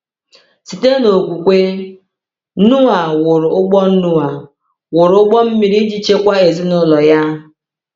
Site n’okwukwe, Noa “wụrụ ụgbọ Noa “wụrụ ụgbọ mmiri iji chekwaa ezinụlọ ya.”